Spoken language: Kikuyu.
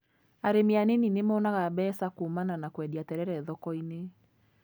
Arĩmi a nini nĩmonaga mbeca kuumana na kwendia terere thoko-inĩ.